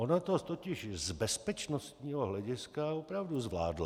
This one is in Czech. Ona to totiž z bezpečnostního hlediska opravdu zvládla.